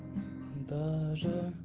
даже